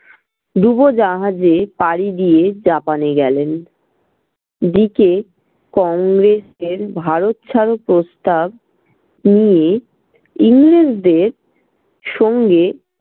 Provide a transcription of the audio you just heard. ডুবোজাহাজে পাড়ি দিয়ে japan এ গেলেন। এদিকে কংগ্রেসের ভারত ছাড়ো প্রস্তাব নিয়ে ইংরেজদের সঙ্গে